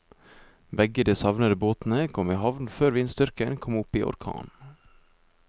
Begge de savnede båtene kom i havn før vindstyrken kom opp i orkan.